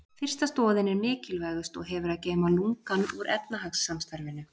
Fyrsta stoðin er mikilvægust og hefur að geyma lungann úr efnahagssamstarfinu.